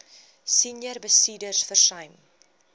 senior bestuurders versuim